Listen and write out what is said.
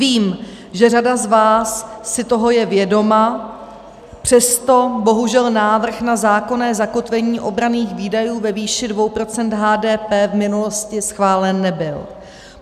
Vím, že řada z vás si toho je vědoma, přesto bohužel návrh na zákonné zakotvení obranných výdajů ve výši 2 % HDP v minulosti schválen nebyl.